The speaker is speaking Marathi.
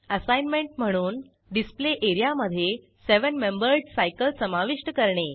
असाईनमेंट म्हणून डिस्प्ले एरियामधे सेवेन मेंबर्ड सायकल समाविष्ट करणे